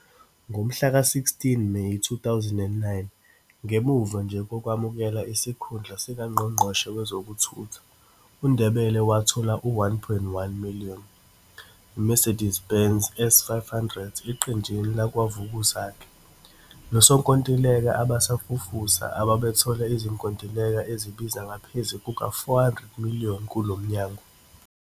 Ngomhlaka 16 Meyi 2009, ngemuva nje kokwamukela isikhundla sikaNgqongqoshe Wezokuthutha, uNdebele wathola u-R1,1-million iMercedes Benz S500 eqenjini lakwaVukuzakhe 'losonkontileka abasafufusa', ababethole izinkontileka ezibiza ngaphezu kuka-R400-million kulo Mnyango.